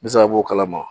Misaliya b'o kalama